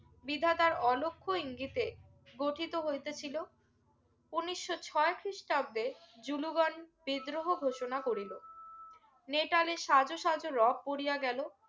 বিধাতার অলক্ষ্য ইঙ্গিতে গঠিত হইতেছিলো উনিশশো ছয় খ্রিস্টাব্দে জুলুগং বিদ্রোহ ঘোষণা করিলো নেতাদেড় সাজ সাজ রব পরিয়া গেলো